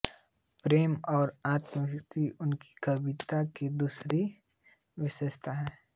प्रेम और आत्माभिव्यक्ति उनकी कविता की दूसरी विशेषता है